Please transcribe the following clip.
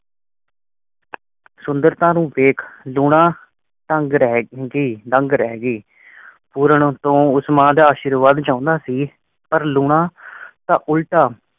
ਸੁੰਦਰਤਾ ਨੂੰ ਦੇਖ ਲੂਣਾ ਤੰਗ ਰਹਿ ਹੀ, ਦੰਗ ਰਹੀ ਗੀ ਪੂਰਨ ਉਤੇ ਉਸ ਮਾਂ ਦਾ ਅਸ਼ੀਰਵਾਦ ਚਾਹੁੰਦਾ ਸੀ ਪਰ ਲੂਣਾ ਤਾ ਉਲਟਾ